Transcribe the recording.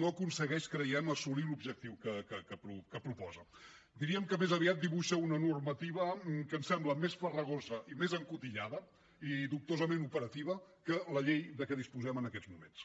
no aconsegueix creiem assolir l’objectiu que proposa diríem que més aviat dibuixa una normativa que ens sembla més farragosa i més encotillada i dubtosament operativa que la llei de què disposem en aquests moments